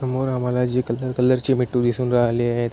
समोर आम्हाला जे कलर कलर चे मिठू दिसून राहले आहेत.